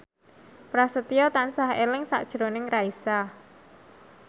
Prasetyo tansah eling sakjroning Raisa